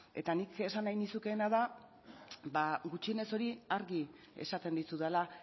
eta nik esan nahi nizukeena da ba gutxienez hori argi esaten dizudala